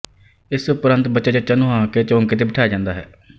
ਇਸ ਉਪਰੰਤ ਬੱਚਾ ਜੱਚਾ ਨੂੰ ਨੁਹਾ ਕੇ ਚੌਂਕੇ ਤੇ ਬਿਠਾਇਆ ਜਾਂਦਾ ਹੈ